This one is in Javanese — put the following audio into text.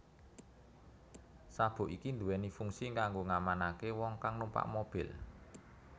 Sabuk iki duwéni fungsi kanggo ngamanaké wong kang numpak mobil